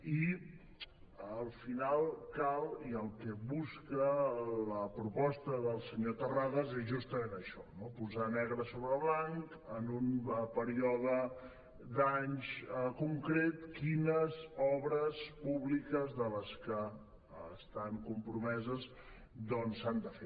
i al final cal i el que busca la proposta del senyor terrades és justament això posar negre sobre blanc en un període d’anys concret quines obres públiques de les que estan compromeses s’han de fer